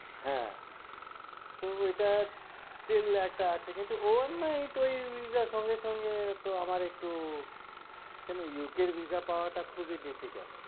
হ্যাঁ তো এটার skill একটা আছে কিন্তু one night ওই visa সঙ্গে-সঙ্গে তো আমার একটু কেন UKvisa খুবই difficult